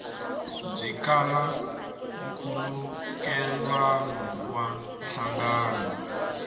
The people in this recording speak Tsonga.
byi kala nkhulukelano na nhlangano